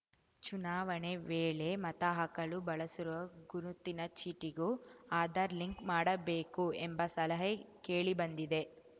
ಚುನಾವಣೆ ವೇಳೆ ಮತಹಾಕಲು ಬಳಸುವ ಗುರುತಿನ ಚೀಟಿಗೂ ಆಧಾರ್‌ ಲಿಂಕ್‌ ಮಾಡಬೇಕು ಎಂಬ ಸಲಹೆ ಕೇಳಿಬಂದಿದೆ